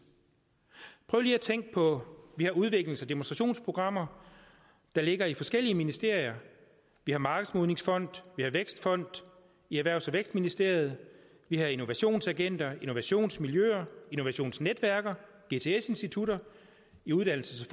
prøv lige at tænke på vi har udviklings og demonstrationsprogrammer der ligger i forskellige ministerier vi har markedsmodningsfond vi har vækstfond i erhvervs og vækstministeriet vi har innovationsagenter innovationsmiljøer innovationsnetværk gts institutter i uddannelses